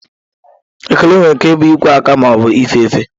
Ekele nwere ike ịbụ ikwe aka ma ọ bụ ife efe.